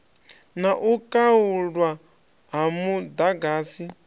na u khaulwa ha muḓagasi